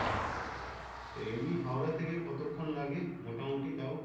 তো এমনই হাওড়া থেকে কতক্ষন লাগে মোটামটি তাও?